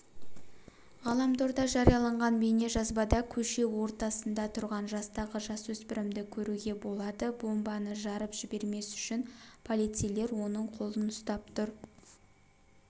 ғаламторда жарияланған бейнежазбада көше ортасында тұрған жастағы жасөспірімді көруге болады бомбаны жарып жібермес үшін полицейлер оның қолын ұстап тұр